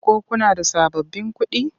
Ko kuna da sababbin kuɗi?